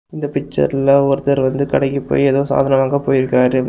இந்த பிச்சர்ல ஒருத்தர் வந்து ஏதோ சாதனம் வாங்க போய் இருக்காரு.